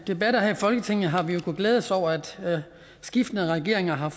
debatter her i folketinget har vi jo kunnet glæde os over at skiftende regeringer har